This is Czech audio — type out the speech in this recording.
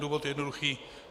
Důvod je jednoduchý.